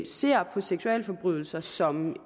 ser på seksualforbrydelser som